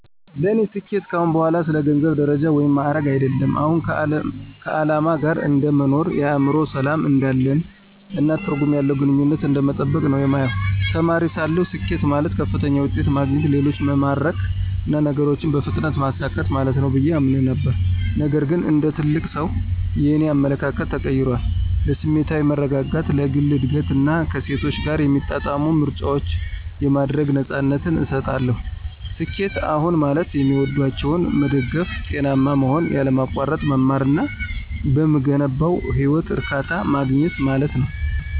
ለእኔ ስኬት ከአሁን በኋላ ስለ ገንዘብ፣ ደረጃ ወይም ማዕረግ አይደለም። አሁን ከዓላማ ጋር እንደ መኖር፣ የአእምሮ ሰላም እንዳለን፣ እና ትርጉም ያለው ግንኙነትን እንደመጠበቅ ነው የማየው። ተማሪ ሳለሁ፣ ስኬት ማለት ከፍተኛ ውጤት ማግኘት፣ ሌሎችን መማረክ እና ነገሮችን በፍጥነት ማሳካት ማለት ነው ብዬ አምን ነበር። ነገር ግን እንደ ትልቅ ሰው, የእኔ አመለካከት ተቀይሯል. ለስሜታዊ መረጋጋት፣ ለግል እድገት እና ከእሴቶቼ ጋር የሚጣጣሙ ምርጫዎችን የማድረግ ነፃነትን እሰጣለሁ። ስኬት አሁን ማለት የሚወዷቸውን መደገፍ፣ ጤናማ መሆን፣ ያለማቋረጥ መማር እና በምገነባው ህይወት እርካታ ማግኘት ማለት ነው።